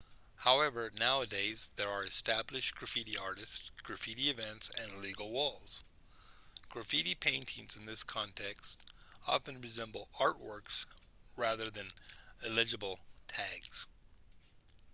however nowadays there are established graffiti artists graffiti events and legal walls graffiti paintings in this context often resemble artworks rather than illegible tags